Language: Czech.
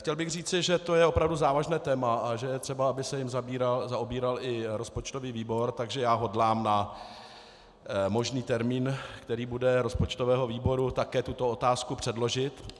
Chtěl bych říci, že to je opravdu závažné téma a že je třeba, aby se jím zaobíral i rozpočtový výbor, takže já hodlám na možný termín, který bude rozpočtového výboru, také tuto otázku předložit.